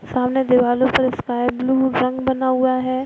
सामने दिवालो पे स्काई ब्लू रंग बना हुआ है।